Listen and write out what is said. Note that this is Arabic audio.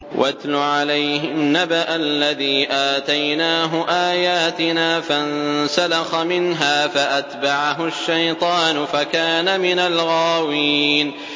وَاتْلُ عَلَيْهِمْ نَبَأَ الَّذِي آتَيْنَاهُ آيَاتِنَا فَانسَلَخَ مِنْهَا فَأَتْبَعَهُ الشَّيْطَانُ فَكَانَ مِنَ الْغَاوِينَ